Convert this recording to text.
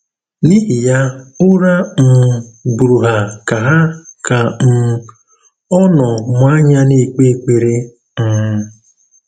N’ìhì yà, ǔrà um bùrù hà kà hà kà um ò nọ́ mụ̀ ànyà nà-èkpè ékperè. um